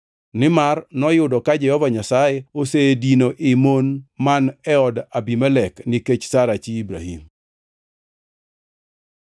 nimar noyudo ka Jehova Nyasaye osedino ii mon man e od Abimelek nikech Sara chi Ibrahim.